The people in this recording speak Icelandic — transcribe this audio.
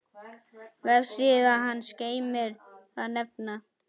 Vefsíða hans geymir þann vefnað.